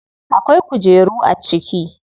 Akwai kujeru a ciki?